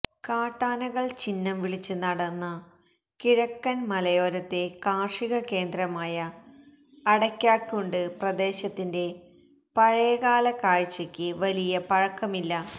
കാട്ടാനകൾ ചിന്നം വിളിച്ച് നടന്ന കിഴക്കൻ മലയോരത്തെ കാർഷിക കേന്ദ്രമായ അടക്കാക്കുണ്ട് പ്രദേശത്തിന്റെ പഴയകാല കാഴ്ചക്ക് വലിയ പഴക്കമില്ല